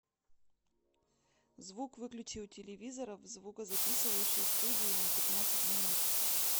звук выключи у телевизора в звукозаписывающей студии на пятнадцать минут